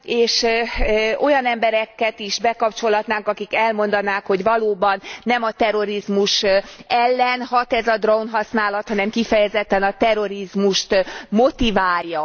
és olyan embereket is bekapcsolhatnánk, akik elmondanák, hogy valóban nem a terrorizmus ellen hat ez a drónhasználat, hanem kifejezetten a terrorizmust motiválja.